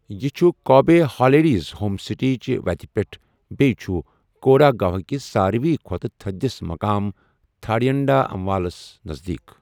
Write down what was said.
یہِ چُھ كابے ہالیٖڈیٛز ہوم سٕٹے چہِ وَتہِ پٮ۪ٹھ بیٚیہِ چُھ کوڈاگوہكِس سارِوی کھوٛتہٕ تٕھدِس مُقامَ تھاڈیانٛڈامولَس نَزدیٖک ۔